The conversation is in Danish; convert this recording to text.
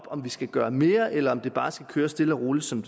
om vi skal gøre mere eller om det bare skal køre stille og roligt som